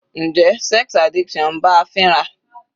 Njẹ́ sex addiction ń bá a fínra?